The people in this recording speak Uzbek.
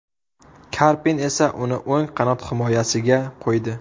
Karpin esa uni o‘ng qanot himoyasiga qo‘ydi.